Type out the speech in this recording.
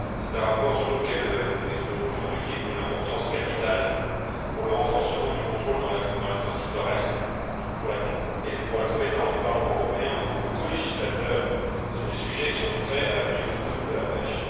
C'est un rapport sur lequel nous nous exprimons aujourd'hui et qui est d'une importance capitale pour le renforcement du contrôle dans l'Atlantique Nord Est et pour la compétence du Parlement européen en tant que colégislateur sur les sujets qui ont trait à la politique commune de la pêche.